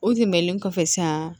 O tɛmɛnen kɔfɛ san